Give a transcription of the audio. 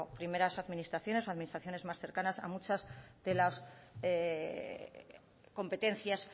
primeras administraciones o administraciones más cercanas es la falta de financiación que tienen para hacer frente a muchas de las competencias